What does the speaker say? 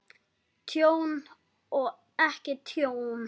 Tjón og ekki tjón?